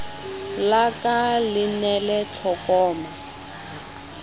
la ka le nele tlokoma